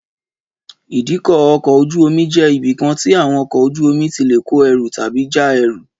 Ìdíkọ̀ ọkọ̀ ojú-omi jẹ́ ibi kan tí àwọn ọkọ̀ ojú-omi tí lè kó ẹrù tàbí já ẹrù